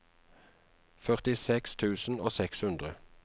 førtiseks tusen og seks hundre